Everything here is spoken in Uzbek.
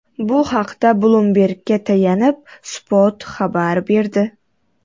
Bu haqda Bloomberg‘ga tayanib, Spot xabar berdi .